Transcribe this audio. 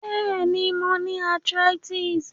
Béèni, mo ni arthritis